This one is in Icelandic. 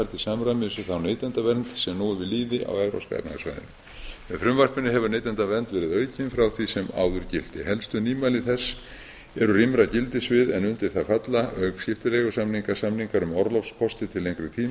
samræmis við þá neytendavernd sem nú er við lýði á evrópska efnahagssvæðinu með frumvarpinu hefur neytendavernd verið aukin frá því sem áður gilti helstu nýmæli þess eru rýmra gildissvið en undir það falla auk skiptileigusamninga samningar um orlofskosti til lengri tíma